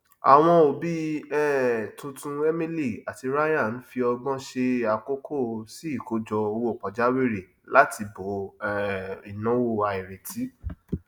àwọn òbí um tuntun emily àti ryan ń fi ọgbọn ṣe àkókò sí ìkójọ owó pajawìrì láti bo um ináwó àìrètí